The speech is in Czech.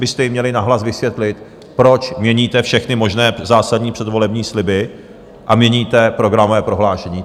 byste jim měli nahlas vysvětlit, proč měníte všechny možné zásadní předvolební sliby a měníte programové prohlášení.